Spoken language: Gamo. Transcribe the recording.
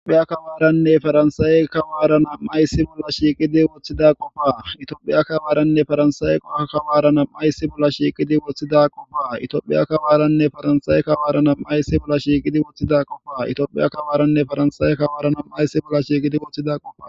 itophiya kawaaranne faransaawe kawaarana mayssi bolla shiiqidi woththida qoba itoophiya kabaaranne faransaawe qoka kawaarana maysi bolla shiiqidi woththida qoba itoophiya kabaaranne faransaawe kawaarana maysi bolla shiiqidi woththida qoba itiophiya kabaaranne faransaawe kawaarana maysi bolla shiiqidi woththida qoba